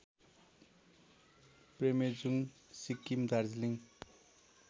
प्रेमेजुङ Sikkim Darjeeling